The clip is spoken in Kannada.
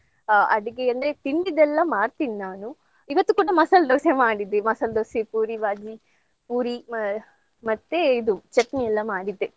ಆ ಅಡ್ಗೆ ಅಂದ್ರೆ ತಿಂಡಿದೆಲ್ಲ ಮಾಡ್ತೀನ್ ನಾನು. ಇವತ್ತು ಕೂಡ ಮಸಾಲ್ ದೋಸೆ ಮಾಡಿದ್ದೆ. ಮಸಾಲ್ ದೋಸೆ, ಪೂರಿ ಬಾಜಿ, ಪೂರಿ ಮ~ ಮತ್ತೆ ಇದು ಚಟ್ನಿಯೆಲ್ಲ ಮಾಡಿದ್ದೆ.